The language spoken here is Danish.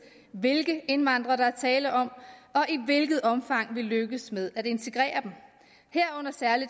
hvilke indvandrere der er tale om og i hvilket omfang vi lykkes med at integrere dem herunder særlig